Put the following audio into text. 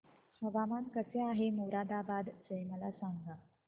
हवामान कसे आहे मोरादाबाद चे मला सांगा